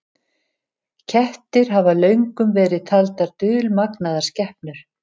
Kettir hafa löngum verið taldar dulmagnaðar skepnur.